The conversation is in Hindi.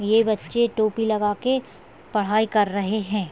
ये बच्चे टोपी लगा के पढ़ाई कर रहे है।